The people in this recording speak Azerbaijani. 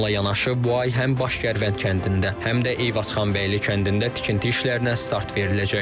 Bununla yanaşı, bu ay həm Baş Gərvənd kəndində, həm də Eyvazxanbəyli kəndində tikinti işlərinə start veriləcək.